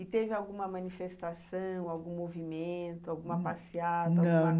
E teve alguma manifestação, algum movimento, alguma passeata? não.